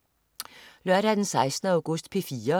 Lørdag den 16. august - P4: